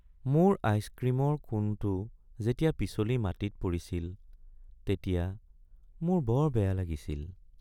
মোৰ আইচক্ৰীমৰ কোণটো যেতিয়া পিছলি মাটিত পৰিছিল তেতিয়া মোৰ বৰ বেয়া লাগিছিল।